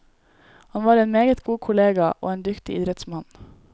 Han var en meget god kollega, og en dyktig idrettsmann.